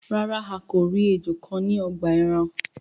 Ràrá a kọ ríi ejò kán ní ogbà èràn.